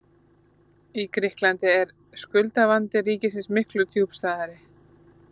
Í Grikklandi er skuldavandi ríkisins miklu djúpstæðari.